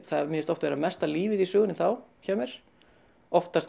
mér finnst oft vera mesta lífið í sögunni þá hjá mér oftast